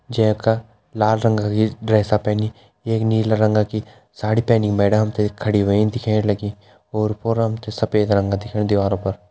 जै का लाल रंगा कि ड्रेसा पैनि एक नीला रंगा की साड़ी पैनि मैडम हम ते खड़ी होईं दिखेण लगीं ओर पोर हम ते सफ़ेद रंगा दिखेणु दीवारों पर।